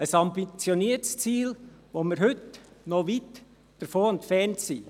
Das ist ein ambitioniertes Ziel, von dem wir heute noch weit entfernt sind.